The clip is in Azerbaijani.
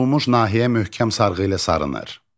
Burxulmuş nahiyə möhkəm sarğı ilə sarınır.